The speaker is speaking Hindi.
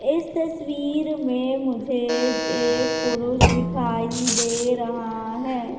इस तस्वीर में मुझे एक पुरुष दिखाई दे रहा है।